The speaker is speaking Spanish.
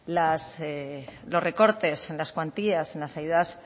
los recortes en las cuantías en las ayudas